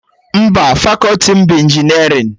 Mba, fakọti m bụ injinerịn